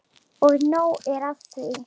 Og nóg er af því.